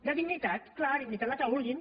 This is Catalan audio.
de dignitat clar dignitat la que vulguin